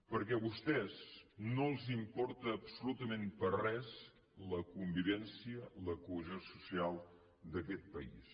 perquè a vostès no els importa absolutament per res la convivència la cohesió social d’aquest país